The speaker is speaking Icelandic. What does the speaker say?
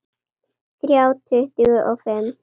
Þrjá tuttugu og fimm